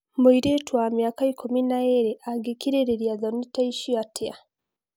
Mũirĩtu wa miaka ikũmi na ĩrĩ angekirĩrĩria thoni ta icio atia?